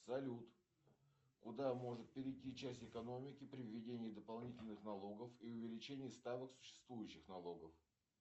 салют куда может перейти часть экономики при введении дополнительных налогов и увеличении ставок существующих налогов